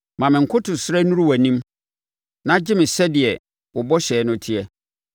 Ma me nkotosrɛ nnuru wʼanim; na gye me sɛdeɛ wo bɔhyɛ no teɛ.